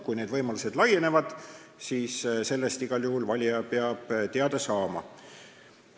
Kui need võimalused laienevad, siis sellest peab valija igal juhul teada saama.